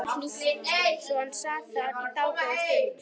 Það var hlýtt svo hann sat þar í dágóða stund.